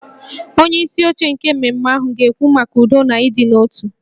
Onyeisi oche nke mmemme ahụ ga-ekwu maka udo na ịdị n'otu